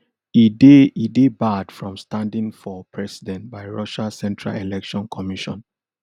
e dey e dey barred from standing for president by russia central election commission